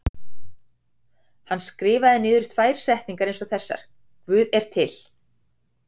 Hann skrifaði niður tvær setningar eins og þessar: Guð er til.